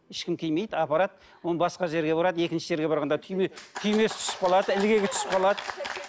ешкім тимейді апарады оны басқа жерге барады екінші жерге барғанда түйме түймесі түсіп қалады ілгегі түсіп қалады